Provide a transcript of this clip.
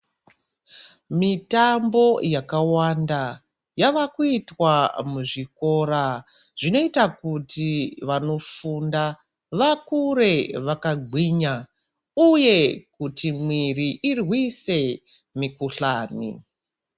Mitambo yakawanda yavakuitwa muzvikora zvinoita kuti vanofunda vakure vakagwinya uye kuti mwiri irwise mikhuhlani.